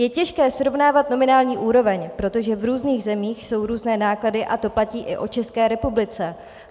Je těžké srovnávat nominální úroveň, protože v různých zemích jsou různé náklady, a to platí i o České republice.